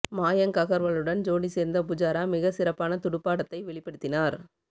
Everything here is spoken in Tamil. மயாங்க் அகர்வாலுடன் ஜோடி சேர்ந்த புஜாரா மிக சிறப்பான துடுப்பாடத்தை வெளிப்படுத்தினார்